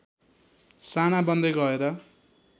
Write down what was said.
साना बन्दै गएर